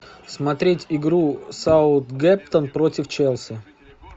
смотреть игру саутгемптон против челси